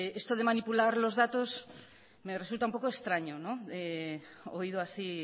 esto de manipular los datos me resulta un poco extraño oído así